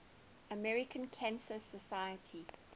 american cancer society